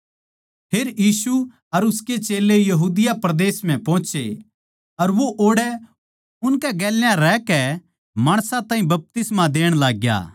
फेर यीशु अर उसके चेल्लें यहूदिया परदेस म्ह पोहोचे अर वो ओड़ै उनकै गेल्या रहकै माणसां ताहीं बपतिस्मा देण लाग्या